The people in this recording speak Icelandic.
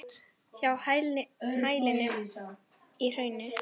Hjá hælinu í hrauni.